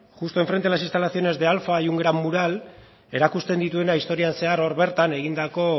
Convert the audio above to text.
justo enfrente de las instalaciones de alfa hay un gran mural erakusten dituena historian zehar hor bertan egindako